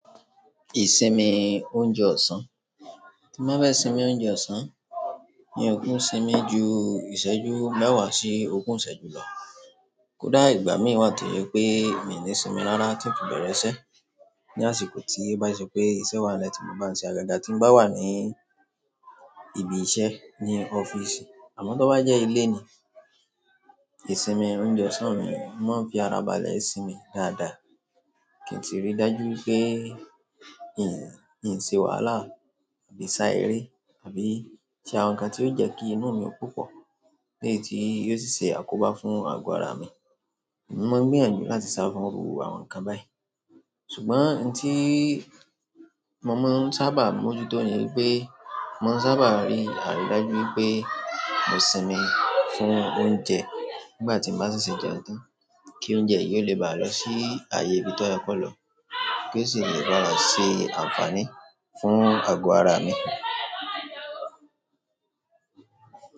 Ìsinmi oúnjẹ ọ̀sán, tí n bá fẹ́ sinmi oúnjẹ ọ̀sán, mi ò kin sinmi ju ìṣẹ́jú mẹ́wàá sí ogún ìṣẹ́jú lọ. Kódà ìgbà mí wà to jo pé mi ò ni sinmi rárá tí ń fi bẹ̀rẹ̀ iṣẹ́. Ni àsìkò tí bá n ṣe pé iṣẹ́ wa n le ti mo bá ń ṣe agaga tí ń bá wà ní ibi iṣẹ́, ní ọ́fíìsì àmọ́ tó bá jẹ́ ilé ni, ìsinmi oúnjẹ ọ̀sán mi máa ń fi ara balẹ̀ sinmi dáadáa. Ki n tí ri dájú wipé n ò ṣe wàhálà àbí sá eré àbí ṣe àwọn nǹkan tí yóò jẹ́ kí inú mi ó po po leyi tí yóò sì ṣe àkóbá fún ago ara mi. Mo máa ń gbìyànjú láti saa fún irú àwọn nǹkan báyìí. Ṣùgbọ́n ohun tí mo máa ń sábà mójútó ni pé mo máa ń sábà rí àrídájú pé mo sinmi fún oúnjẹ nígbà tí n bá ṣe se jẹun tán kí oúnjẹ yìí o lè bá lọ sí ààyè ibí tó yẹ kó lọ ko sì lè bá ṣe àǹfààní fún ago ara mi.